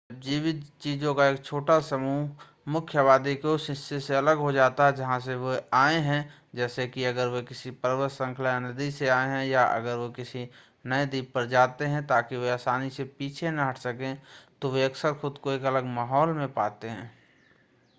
जब जीवित चीजों का एक छोटा समूह छोटी आबादी मुख्य आबादी के उस हिस्से से अलग हो जाता है जहाँ से वे आए हैं जैसे कि अगर वे किसी पर्वत श्रृंखला या नदी से आए हैं या अगर वे किसी नए द्वीप पर जाते हैं ताकि वे आसानी से पीछे न हट सकें तो वे अक्सर खुद को एक अलग माहौल में पाते हैं